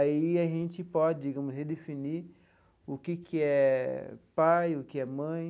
Aí a gente pode, digamos, redefinir o que que é pai, o que é mãe.